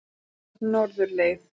Norðurleið